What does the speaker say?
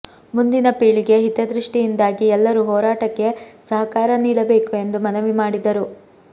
ಮುಂದಿನ ಪೀಳಿಗೆ ಹಿತದೃಷ್ಟಿಯಿಂದಾಗಿ ಎಲ್ಲರೂ ಹೋರಾಟಕ್ಕೆ ಸಹಕಾರ ನೀಡಬೇಕು ಎಂದು ಮನವಿ ಮಾಡಿದರು